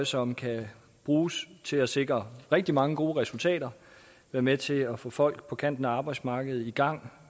som kan bruges til at sikre rigtig mange gode resultater være med til at få folk på kanten af arbejdsmarkedet i gang